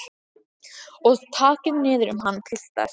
Og takið niður um hann piltar.